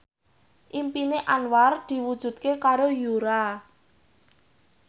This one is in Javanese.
impine Anwar diwujudke karo Yura